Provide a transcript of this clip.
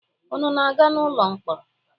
Unu na-aga ụlọ mkpọrọ?